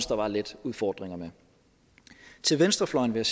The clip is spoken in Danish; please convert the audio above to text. der var lidt fordringer med til venstrefløjen vil